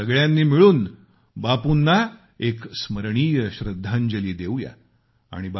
आपण सगळ्यांनी मिळून बापूंना एक स्मरणीय श्रद्धांजली वाहू या